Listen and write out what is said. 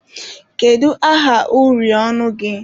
Kedu aha uri ọnụ gị?